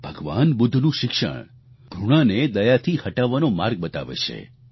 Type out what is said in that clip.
ભગવાન બુદ્ધનું શિક્ષણ ઘૃણાને દયાથી હટાવવાનો માર્ગ બતાવે છે